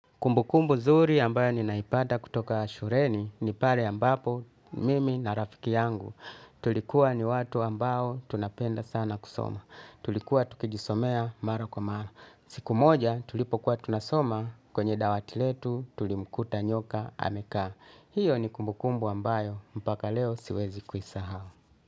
Kumbukumbu zuri ambayo ninaipata kutoka shureni ni pale ambapo mimi na rafiki yangu. Tulikuwa ni watu ambao tunapenda sana kusoma. Tulikuwa tukijisomea mara kwa mara. Siku moja tulipokuwa tunasoma kwenye dawatiletu tulimkuta nyoka amekaa. Hiyo ni kumbukumbu ambayo mpaka leo siwezi kuisahau.